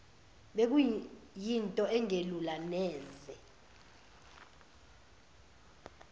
bekuyinto engelula neze